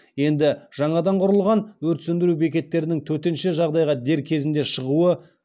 енді жаңадан құрылған өрт сөндіру бекеттерінің төтенше жағдайға дер кезінде шығуы